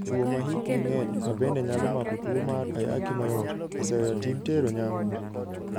"Chwo ma hikgi ng'eny, ma bende nyalo mako tuwo mar Ayaki mayot, oseweyo tim tero nyangu.